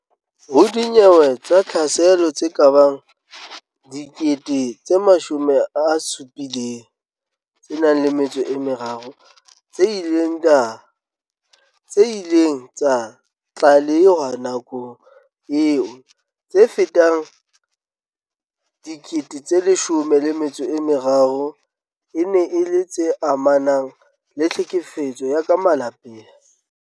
Ho dinyewe tsa tlhaselo tse kabang 73 000 tse ileng tsa tlalehwa nakong eo, tse fetang 13000 e ne e le tse amanang le tlhekefetso ya ka malapeng.